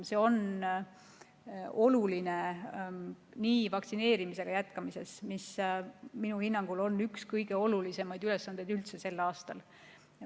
See on oluline vaktsineerimise jätkamiseks, mis minu hinnangul on üks kõige olulisemaid ülesandeid üldse sel aastal.